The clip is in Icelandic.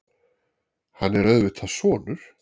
Hann er auðvitað sonur